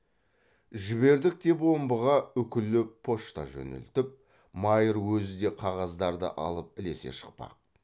жібердік деп омбыға үкілі почта жөнелтіп майыр өзі де қағаздарды алып ілесе шықпақ